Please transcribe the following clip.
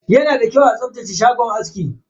Yana da kyau a tsaftace shagon aski.